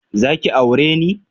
Zaki aure ne?